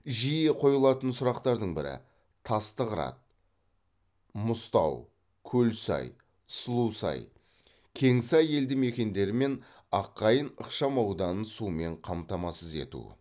жиі қойылатын сұрақтардың бірі тасты қырат мұзтау көлсай сұлусай кеңсай елді мекендері мен аққайың ықшамауданын сумен қамтамасыз ету